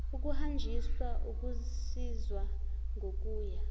ukuhanjiswa ukusizwa ngokuya